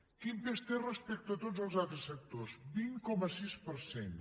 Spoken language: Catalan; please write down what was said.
quin pes té respecte a tots els altres sectors el vint coma sis per cent